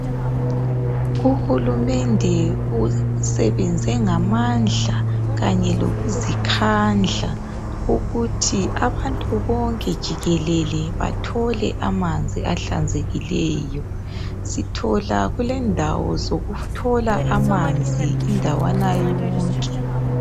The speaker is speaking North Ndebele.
Uhulumende usebenze ngamandla kanye lokuzikhandla ukuthi abantu bonke jikelele bathole amanzi ahlanzekileyo. Sithola kulendawo zokuthola amanzi indawana yonke.